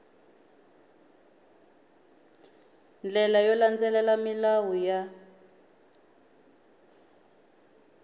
ndlela yo landzelela milawu ya